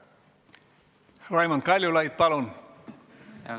Raimond Kaljulaid, palun!